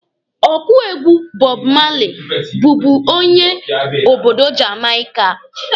Ọkụ egwu Bob Marley bụbu onye obodo Jamaika.